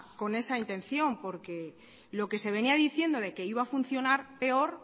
con esa intención porque lo que se venía diciendo que iba a funcionar peor